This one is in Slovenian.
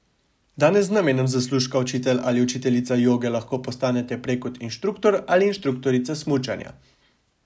Danes z namenom zaslužka učitelj ali učiteljica joge lahko postanete prej kot inštruktor ali inštruktorica smučanja.